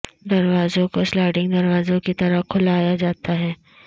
دروازوں کو سلائڈنگ دروازوں کی طرح کھلایا جاتا ہے